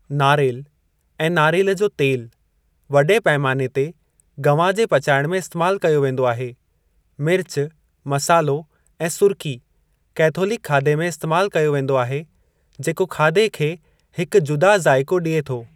नारेलु ऐं नारेलु जो तेलु वॾे पैमाने ते गवां जे पचाइणु में इस्तेमाल कयो वेंदो आहे मिर्च, मसाल्हो ऐं सुर्की, कैथोलिक खाधे में इस्तेमाल कयो वेंदो आहे जेको खाधे खे हिक जुदा ज़ाइक़ो ॾिए थो।